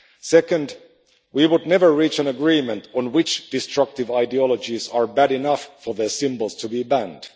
Second, we would never reach an agreement on which destructive ideologies are bad enough for the symbols to be banned.